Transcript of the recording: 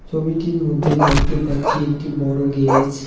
ছবিটির মধ্যে দেখতে পাচ্ছি একটি বড় গেরেজ ।